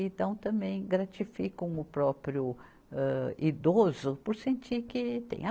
Então, também gratificam o próprio, âh, idoso por sentir que tem.